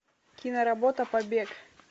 киноработа побег